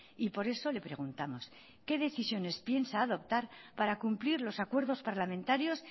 y por eso le preguntamos qué decisiones piensa adoptar para cumplir los acuerdos parlamentarios